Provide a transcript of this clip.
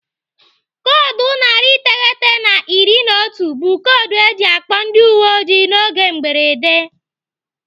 Koodu narị iteghete na iri na otu bụ koodu eji akpọ ndị uwe ojii n'oge mberede.